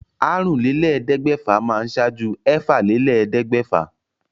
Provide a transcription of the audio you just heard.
Àrúnlélẹ́ẹ̀ẹ́dẹ́gbẹ́fà máa ṣáájú ẹ̀fàlélẹ́ẹ̀ẹ́dẹ́gbẹ́fà